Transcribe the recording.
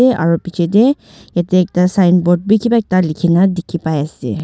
aro beche teh yati ekta signboard bi kiba ekta likina dekhi pai ase.